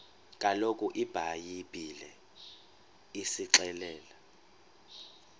kaloku ibhayibhile isixelela